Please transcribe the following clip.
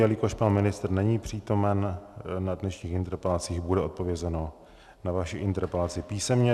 Jelikož pan ministr není přítomen na dnešních interpelacích, bude odpovězeno na vaši interpelaci písemně.